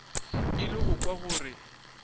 ile go kwa gore o